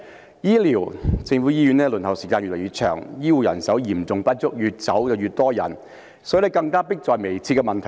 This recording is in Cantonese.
在醫療方面，公立醫院輪候時間越來越長，醫護人手嚴重不足，越來越多醫護人員離開。